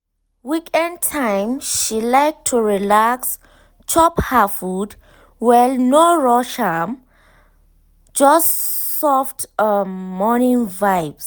weekend time she like to relax chop her food well no rush just um soft um morning vibes.